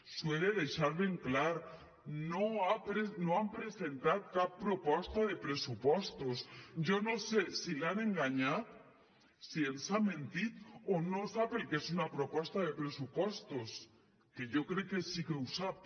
li ho he de deixar ben clar no han presentat cap proposta de pressupostos jo no sé si l’han enganyat si ens ha mentit o no sap el que és una proposta de pressupostos que jo crec que sí que ho sap